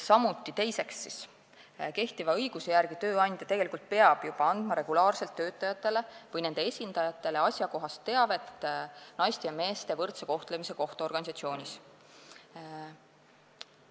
Teiseks, kehtiva õiguse järgi peab tööandja tegelikult juba andma regulaarselt töötajatele või nende esindajatele asjakohast teavet naiste ja meeste võrdse kohtlemise kohta organisatsioonis.